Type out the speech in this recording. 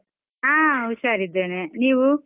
ಹ ಉಷಾರಿದ್ದೇನೆ, ನೀವು?